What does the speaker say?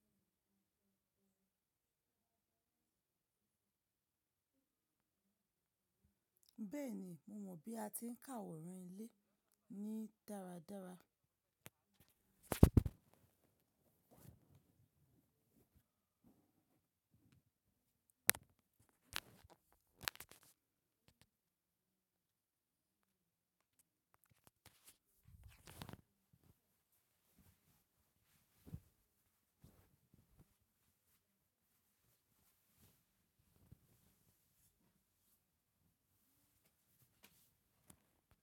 Bẹ́ẹ̀ni, mo mọ bí a ti ń ka àwòrán ilé ní dáradára.